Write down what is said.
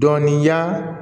Dɔnniya